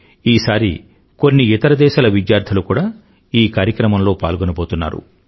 ఈసారి కొన్ని ఇతర దేశాల విద్యార్థులు కూడా ఈ కార్యక్రమంలో పాల్గోబోతున్నారు